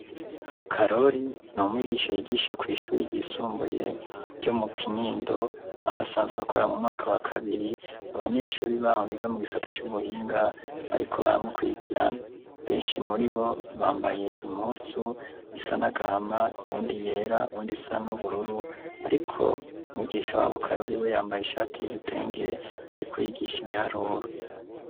Karori n’umwigisha yigisha kw’ishuri ryisumbuye ryo mu kinindo ahasanzwe akora mu mwaka wa kabiri abanyeshuri baho biga mu gisata c’ubuhinga bariko baramukurikirana ,benshi muri bo bambaye impuzu isa n’agahama ,uwundi yera ,uwundi isa n'ubururu, arik’umwigisha w'abo karori we yambaye ishati y’igitenge ariko yigisha ibiharuru.